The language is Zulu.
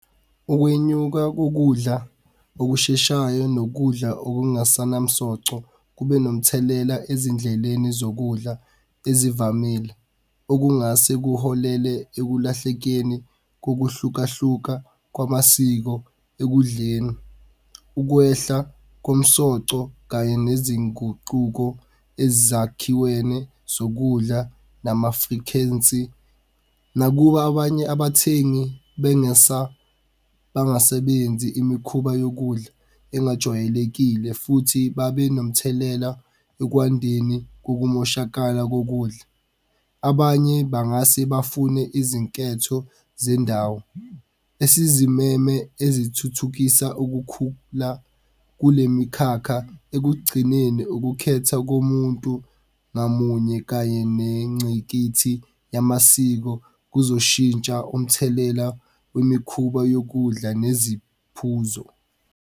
Ukwenyuka kokudla okusheshayo nokudla okungasanamsoco kube nomthelela ezindleleni zokudla ezivamile okungase kuholele ekulahlekeni kokuhlukahluka kwamasiko ekudleni. Ukwehla komsoco kanye nezinguquko ezakhiweni zokudla nama-frequency. Nakuba abanye abathengi bangasebenzi imikhuba yokudla engajwayelekile futhi babe nomthelela ekwandeni kokumoshakala kokudla. Abanye bangase bafune izinketho zendawo esizimeme ezithuthukisa ukukhula kule mikhakha. Ekugcineni, ukukhetha komuntu ngamunye kanye nencikithi yamasiko kuzoshintsha umthelela kwemikhuba yokudla neziphuzo.